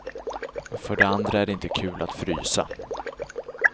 För det andra är det inte kul att frysa.